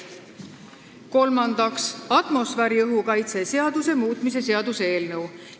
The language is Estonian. Kolmandaks, atmosfääriõhu kaitse seaduse muutmise seaduse eelnõu.